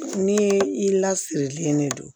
Ni i lasirilen de don